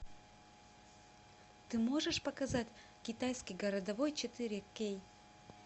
ты можешь показать китайский городовой четыре кей